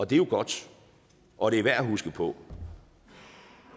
det er jo godt og det er værd at huske på